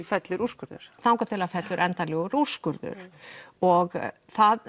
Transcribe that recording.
fellur úrskurður þangað til að það fellur endanlegur úrskurður og það